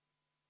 Aitäh!